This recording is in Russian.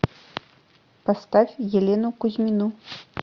поставь елену кузьмину